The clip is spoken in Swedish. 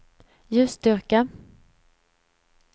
ljusstyrka